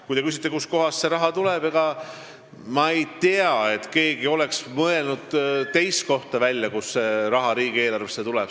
Kui te küsite, kust see raha tuleb, siis ma ei tea, et keegi oleks mõelnud välja teist kohta, kust raha riigieelarvesse tuleb.